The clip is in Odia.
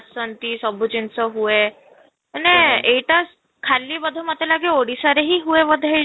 ସନ୍ତି ଜିନିଷ ସବୁ ହୁଏ ମାନେ ଏଇଟା ଖାଲି ବୋଧେ ମୋତେ ଲାଗେ ଓଡିଶାରେ ହିଁ ହୁଏ ବୋଧେ ଏଇଟା